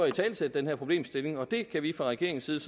italesætte den her problemstilling og det kan vi fra regeringens side